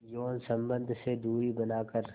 यौन संबंध से दूरी बनाकर